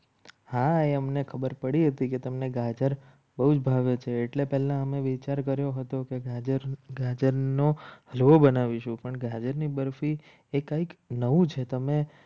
હા એમને ખબર પડી હતી કે તમને ગાજર બહુ જ ભાવે છે. એટલે પહેલા અમે વિચાર કર્યો હતો. કે ગાજર ગાજરનો બનાવીશું. પણ ગાજરની બરફી એ કંઈક નવું છે. તમે